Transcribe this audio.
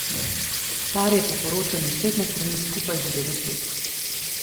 Par je po poročanju spletne strani skupaj že devet let.